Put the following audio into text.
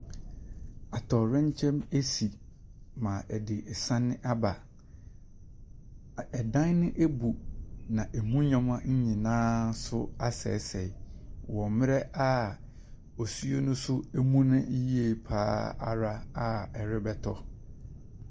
Atɔyerɛkyɛm asi ma ɛde san aba. Ɛdan ne abu na emu nneɛma nso aseɛseɛ wɔ mmerɛ a osuo no so amuna yiye pa ara a ɛrebɛtɔ.